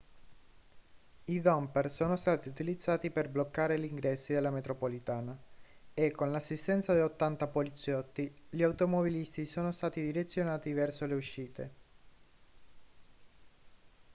i dumper sono stati utilizzati per bloccare gli ingressi della metropolitana e con l'assistenza di 80 poliziotti gli automobilisti sono stati direzionati verso le uscite